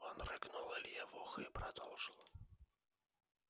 он рыгнул илье в ухо и продолжил